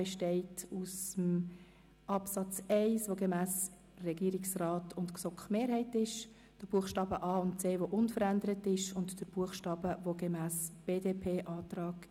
Er besteht aus dem Absatz 1 gemäss Regierungsrat und GSoKMehrheit und dem unveränderten Absatz 2, Buchstaben a und c sowie dem Buchstaben b gemäss dem BDP-Antrag.